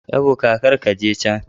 Ebuka kar ka je can.